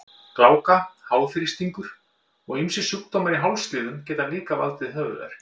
Gláka, háþrýstingur og ýmsir sjúkdómar í hálsliðum geta líka valdið höfuðverk.